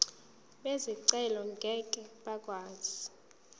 bezicelo ngeke bakwazi